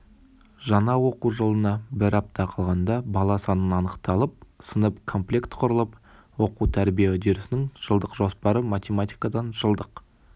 жаңа оқу жылына бір апта қалғанда бала саны анықталып сынып комплект құрылып оқу-тәрбие үдерісінің жылдық жоспары математикадан жылдық